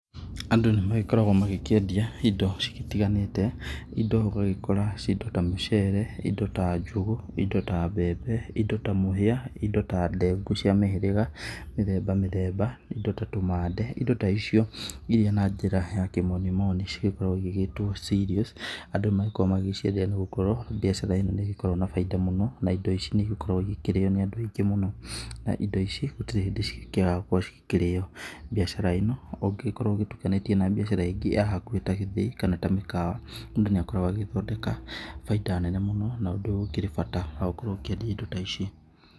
Andũ nĩ magĩkoragwo magĩkĩendia indo citiganĩte, indo ũgagĩkora indo ta mũcere, indo ta njũgũ, indo ta mbembe, indo ta mũhĩa, indo ta ndengũ, cia mĩhĩrĩga mĩthemba mĩthemba indo ta tũmande, indo ta icio. Irĩa na njĩra ya kĩmoni moni cigĩkoragwo igĩgĩtwo cereals, andũ magĩgĩkoragwo magĩciendia nĩ gũkorwo mbiacara ĩno nĩ ĩgĩkoragwo na bainda mũno. Na indo ici nĩ igĩkoragwo igĩkĩrio nĩ andũ aingĩ mũno, na indo ici gũtirĩ hĩndĩ cigĩkĩagaga gũkorwo cigĩkĩrĩo. Mbiacara ĩno ũngĩgĩkorwo ũgĩtukanĩtie na mbiacara ĩngĩ ya hakuhĩ ta gĩthĩi kana ta mĩkawa, mũndũ nĩ agĩkoragwo agĩgĩthondeka baita nene mũno na ũndũ ũyũ ũkĩrĩ bata wa gũkorwo ũkĩendia indo ta ici.